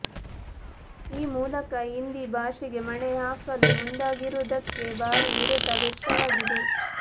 ಈ ಮೂಲಕ ಹಿಂದಿ ಭಾಷೆಗೆ ಮಣೆ ಹಾಕಲು ಮುಂದಾಗಿರುವುದಕ್ಕೆ ಭಾರೀ ವಿರೋಧ ವ್ಯಕ್ತವಾಗಿದೆ